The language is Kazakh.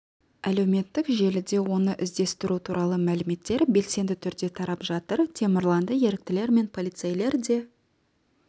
әлеуметтік желіде оны іздестіру туралы мәліметтер белсенді түрде тарап жатыр темірланды еріктілер мен полицейлер де